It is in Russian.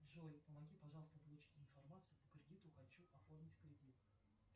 джой помоги пожалуйста получить информацию по кредиту хочу оформить кредит